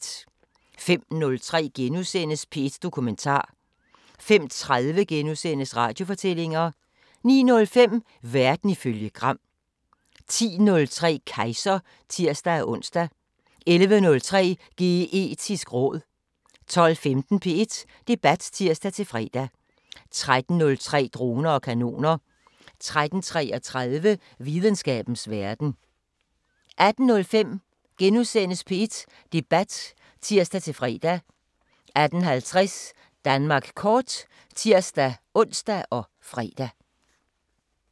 05:03: P1 Dokumentar * 05:30: Radiofortællinger * 09:05: Verden ifølge Gram 10:03: Kejser (tir-ons) 11:03: Geetisk råd 12:15: P1 Debat (tir-fre) 13:03: Droner og kanoner 13:33: Videnskabens Verden 18:05: P1 Debat *(tir-fre) 18:50: Danmark kort (tir-ons og fre)